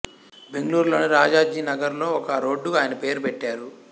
బెంగళూరులోని రాజాజీనగర్ లో ఒక రోడ్డుకు ఆయన పేరు పెట్టారు